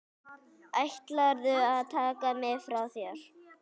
Ætlarðu að taka þig frá mér?